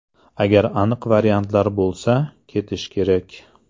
Agar aniq variantlar bo‘lsa, ketish kerak.